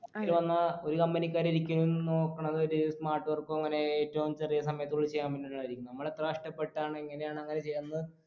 ഇതിൽ വന്ന ഒരു company ക്കാരും ഒരിക്കലും നോക്കണത് ഒരു smart work ഓ അങ്ങനെ ഏറ്റവും ചെറിയ സമയത്ത് പോയി ചെയ്യാൻ പറ്റുന്നവരെയായിരിക്കും നമ്മളെത്ര കഷ്ടപ്പെട്ടാണ് എങ്ങനെയാണ് അങ്ങനെ ചെയ്യന്ന്